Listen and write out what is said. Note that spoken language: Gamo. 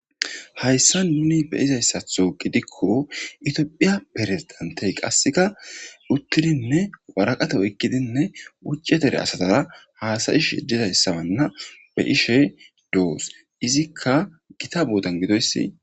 Hayssa nuni beyizayssatho gidikko itiophiya perezidantey qasseka uttidinne waraqate oykkidinne ucce tere asatara haasayish yejizayssabanna be ishe doos izikka gita boodan gidoyssi.